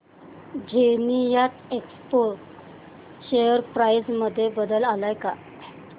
Zenith Expo share price मध्ये बदल आलाय का